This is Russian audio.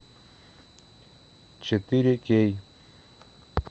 четыре кей